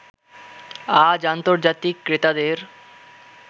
আজ আন্তর্জাতিক ক্রেতাদের